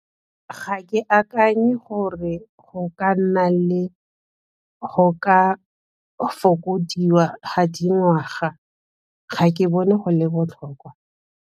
Ga ke akanye gore go ka nna le go ka fokodiwa ga dingwaga, ga ke bone go le botlhokwa.